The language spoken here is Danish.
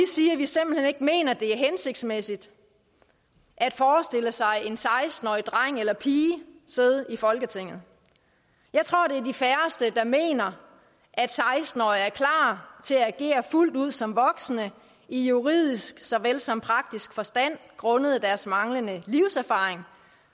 sige at vi simpelt hen ikke mener at det er hensigtsmæssigt at forestille sig en seksten årig dreng eller pige sidde i folketinget jeg tror det er de færreste der mener at seksten årige er klar til at agere fuldt ud som voksne i juridisk såvel som praktisk forstand grundet deres manglende livserfaring